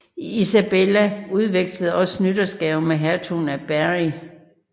Isabella udvekslede også nytårsgaver med hertugen af Berry